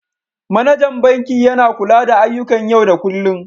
Manajan banki yana kula da ayyukan yau da kullun.